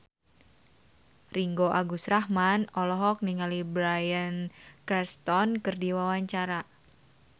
Ringgo Agus Rahman olohok ningali Bryan Cranston keur diwawancara